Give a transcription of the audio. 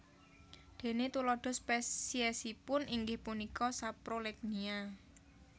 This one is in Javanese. Déné tuladha spesiesipun inggih punika Saprolegnia